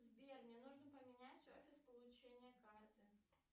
сбер мне нужно поменять офис получения карты